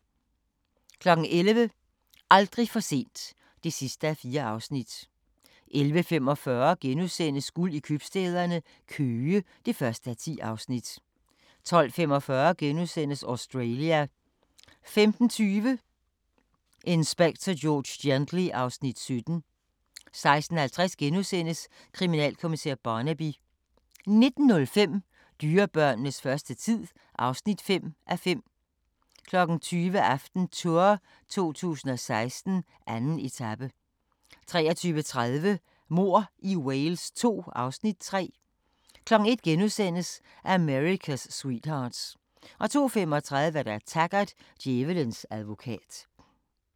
11:00: Aldrig for sent (4:4) 11:45: Guld i købstæderne – Køge (1:10)* 12:45: Australia * 15:20: Inspector George Gently (Afs. 17) 16:50: Kriminalkommissær Barnaby * 19:05: Dyrebørnenes første tid (5:5) 20:00: AftenTour 2016: 2. etape 23:30: Mord i Wales II (Afs. 3) 01:00: America's Sweethearts * 02:35: Taggart: Djævelens advokat